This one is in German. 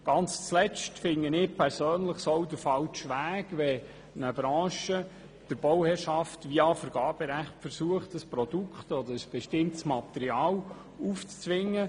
Zu guter Letzt halte ich es persönlich für den falschen Weg, wenn eine Branche versucht, der Bauherrschaft via Vergaberecht ein Produkt oder ein bestimmtes Material aufzuzwingen.